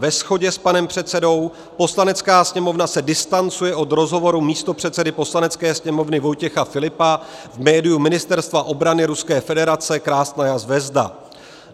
Ve shodě s panem předsedou: Poslanecká sněmovna se distancuje od rozhovoru místopředsedy Poslanecké sněmovny Vojtěcha Filipa v médiu Ministerstva obrany Ruské federace Krasnaja zvezda.